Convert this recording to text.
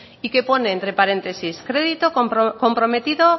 y que pone entre paréntesis crédito comprometido